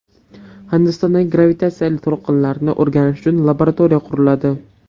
Hindistonda gravitatsiyali to‘lqinlarni o‘rganish uchun laboratoriya quriladi .